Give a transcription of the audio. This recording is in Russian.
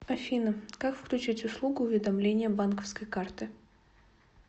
афина как включить услугу уведомления банковской карты